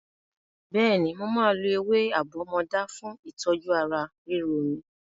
Bẹ́ẹ̀ni, mo máa lo ewé àbọ́mọdá fún ìtọ́jú ara ríro mi.